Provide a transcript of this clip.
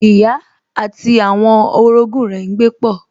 Ìyá àti àwọn orogún rẹ̀ n gbé pọ̀